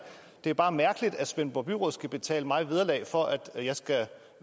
det er bare mærkeligt at svendborg byråd skal betale mig vederlag for at jeg skal